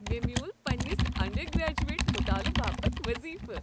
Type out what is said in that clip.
مےٚ میول پننس انڈرگریجویٹ مطالع باپت وظیفہٕ ۔